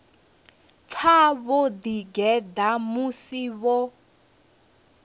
pfa vho ḓigeḓa musi vho